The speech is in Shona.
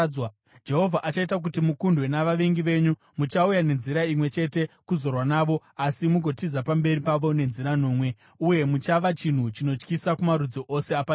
Jehovha achaita kuti mukundwe navavengi venyu. Muchauya nenzira imwe chete kuzorwa navo asi mugotiza pamberi pavo nenzira nomwe, uye muchava chinhu chinotyisa kumarudzi ose apanyika.